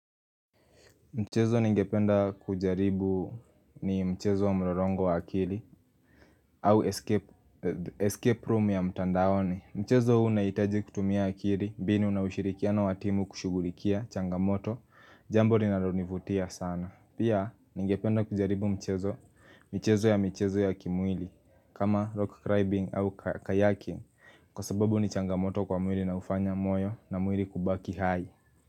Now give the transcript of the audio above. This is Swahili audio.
Mchezo ningependa kujaribu ni mchezo wa mlolongo wa akili au escape room ya mtandaoni. Mchezo huu unahitaji kutumia akili, mbinu na ushirikiana wa timu kushughulikia changamoto Jambo ninalonivutia sana. Pia ningependa kujaribu mchezo Mchezo ya mchezo ya kimwili. Kama rock climbing au kayaking kwa sababu ni changamoto kwa mwili na hufanya moyo na mwili kubaki hai.